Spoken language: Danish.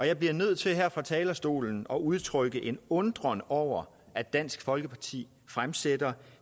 jeg bliver nødt til her fra talerstolen at udtrykke en undren over at dansk folkeparti fremsætter